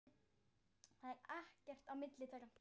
Það er ekkert á milli þeirra.